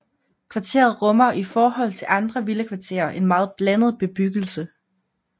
Kvarteret rummer i forhold til andre villakvarterer en meget blandet bebyggelse